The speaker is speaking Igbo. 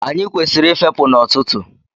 Anyị kwesịrị ị fepụ n'ọtụtụ.